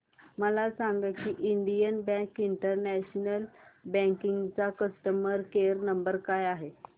मला सांगा की इंडियन बँक इंटरनेट बँकिंग चा कस्टमर केयर नंबर काय आहे